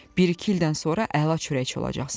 Bir-iki ildən sonra əla çörəkçi olacaqsan.